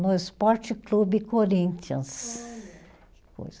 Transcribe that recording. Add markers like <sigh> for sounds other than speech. No Esporte Clube Corinthians. Olha. <unintelligible>